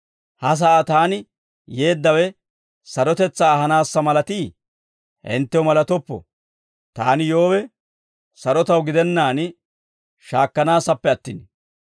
Ha sa'aa taani yeeddawe, sarotetsaa ahanaassa malatiiyee? Hinttew malatoppo. Taani yoowe, sarotaw gidennaan shaakkanaassappe attin.